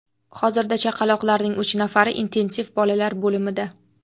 Hozirda chaqaloqlarning uch nafari intensiv bolalar bo‘limida.